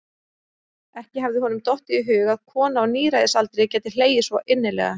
Ekki hafði honum dottið í hug að kona á níræðisaldri gæti hlegið svo innilega.